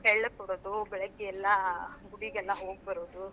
ಎಳ್ಳು ಕೊಡೋದು, ಬೆಳಗ್ಗೆಲ್ಲಾ ಗುಡಿಗೆಲ್ಲಾ ಹೋಗ್ ಬರೋದು.